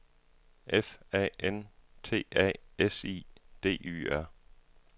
F A N T A S I D Y R